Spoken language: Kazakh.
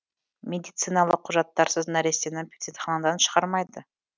медициналық құжаттарсыз нәрестені перзентханадан шығармайды